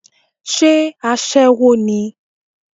Sé aṣẹ́wó ni?